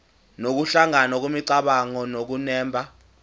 nokuhlangana kwemicabango nokunemba